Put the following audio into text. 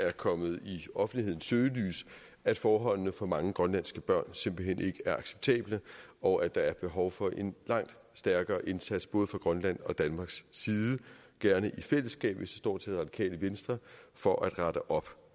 er kommet i offentlighedens søgelys at forholdene for mange grønlandske børn simpelt hen ikke er acceptable og at der er et behov for en langt stærkere indsats både fra grønlands og fra danmarks side gerne i fællesskab hvis det står til radikale venstre for at rette op